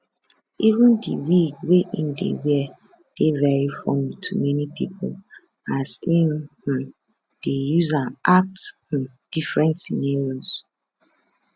even di wig wey im dey wear dey very funny to many pipo as im um dey use am act um different scenarios